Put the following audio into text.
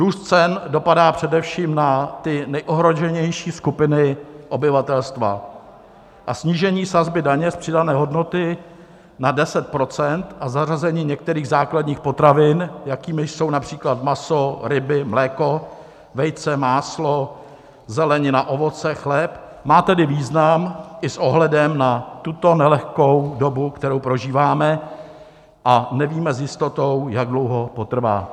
Růst cen dopadá především na ty nejohroženější skupiny obyvatelstva a snížení sazby daně z přidané hodnoty na 10 % a zařazení některých základních potravin, jakými jsou například maso, ryby, mléko, vejce, máslo, zelenina, ovoce, chléb, má tedy význam i s ohledem na tuto nelehkou dobu, kterou prožíváme a nevíme s jistotou, jak dlouho potrvá.